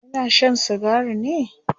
yana Shan sigari ne?